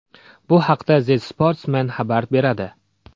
Bu haqda The Sportsman xabar beradi .